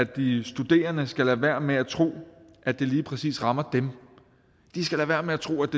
at de studerende skal lade være med at tro at det lige præcis rammer dem lad være med at tro at